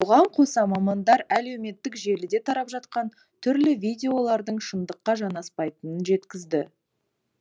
бұған қоса мамандар әлеуметтік желіде тарап жатқан түрлі видеолардың шындыққа жанаспайтынын жеткізді